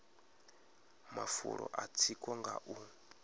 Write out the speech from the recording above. mafulo a tsiko nga u